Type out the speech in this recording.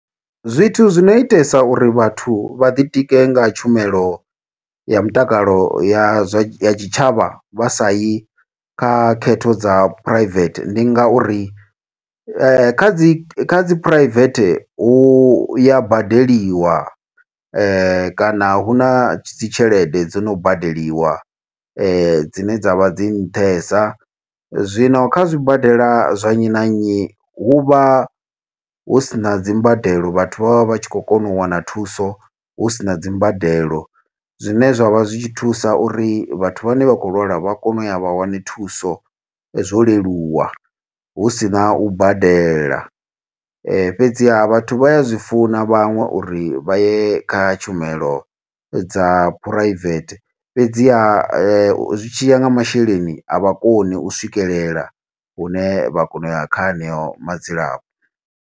Zwithu zwi no itesa uri vhathu vha ḓi tike nga tshumelo ya mutakalo ya zwa, ya tshitshavha, vha sa yi kha khetho dza private. Ndi nga uri kha dzi kha dzi phuraivethe, hu ya badeliwa. Kana hu na dzi tshelede dzi no badeliwa, dzine dzavha dzi nṱhesa. Zwino kha zwibadela zwa nnyi na nnyi, hu vha hu sina dzimbadelo vhathu vha vha vha tshi khou kona u wana thuso, hu sina dzimbadelo. Zwine zwa vha zwi tshi thusa uri, vhathu vhane vha khou lwala vha kona u ya vha wane thuso, zwo leluwa. Hu sina u badela , fhedziha vhathu vha ya zwi funa vhaṅwe uri vha ye kha tshumelo dza private, fhedziha zwi tshiya nga masheleni, a vha koni u swikelela hune vha kona u ya kha heneyo madzilafho.